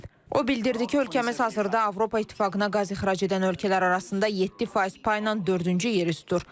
O bildirdi ki, ölkəmiz hazırda Avropa İttifaqına qaz ixrac edən ölkələr arasında 7% payla dördüncü yerə üst dur.